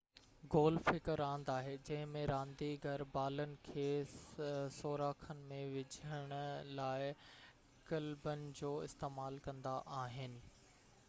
golf هڪ راند آهي جنهن ۾ رانديگر بالن کي سوراخن ۾ وجهڻ لاءِ ڪلبن جو استعمال ڪندا آهن